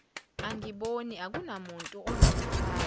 angiboni akunamuntu unokumfaka